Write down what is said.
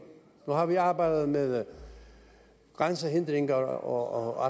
nu har vi arbejdet med grænsehindringer og